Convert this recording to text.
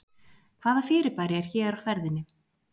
Hvaða fyrirbæri er hér á ferðinni?